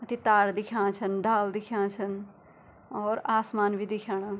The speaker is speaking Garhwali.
ती तार दिखेणा छन डाला दिखेणा छन और आसमान भी दिखेणा।